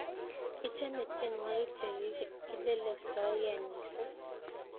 ichome tienwokik che kilelestoike mising